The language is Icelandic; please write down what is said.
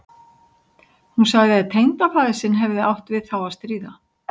Hún sagði að tengdafaðir sinn hefði átt við þá að stríða.